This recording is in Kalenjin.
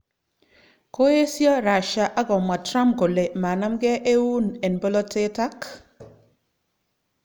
Koesyo Russia ak komwa Trump kole manamgei eun en bolotet ak